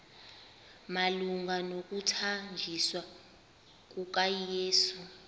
malunga nokuthanjiswa kukayesu